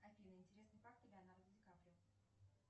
афина интересные факты леонардо ди каприо